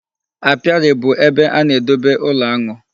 Apiary bụ ebe a na-edobe ụlọ aṅụ.